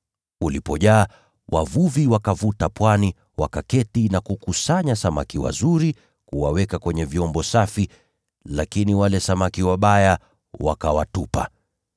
Ulipojaa, wavuvi wakavuta pwani, wakaketi na kukusanya samaki wazuri kuwaweka kwenye vyombo safi, lakini wale samaki wabaya wakawatupa.